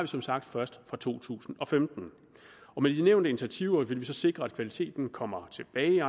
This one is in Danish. som sagt først fra to tusind og femten med de nævnte initiativer vil vi så sikre at kvaliteten kommer tilbage